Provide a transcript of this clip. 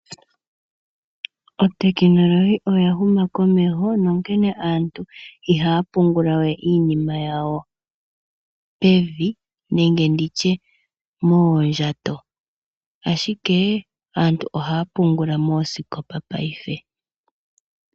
Otekinolohi oya huma komeho nonkene aantu ihaya pungulawe iinima yawo pevi nenge nditye moondjato, ashike aantu ohaya pungula moosikopa paife.